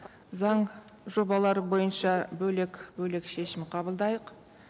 заң жобалары бойынша бөлек бөлек шешім қабылдайық